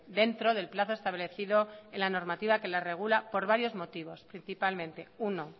dentro del plazo establecido en la normativa que la regula por varios motivos principalmente uno